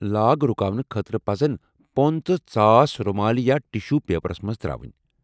Log رُکاونہٕ خٲطرٕ پزن پوٚنٛد تہٕ ژاس رُمالہِ یا ٹِشو پیپرس منز تر٘اونۍ ۔